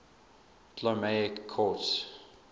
ptolemaic court